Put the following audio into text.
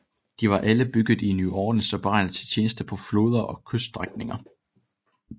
De var alle bygget i New Orleans og beregnet til tjeneste på floder og kyststrækninger